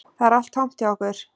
Það er allt tómt hjá okkur